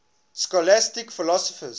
scholastic philosophers